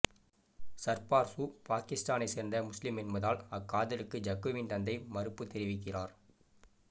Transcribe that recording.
சர்பார்சு பாக்கித்தானை சேர்ந்த முசுலிம் என்பதால் அக்காதலுக்கு ஜக்குவின் தந்தை மறுப்பு தெரிவிக்கிறார்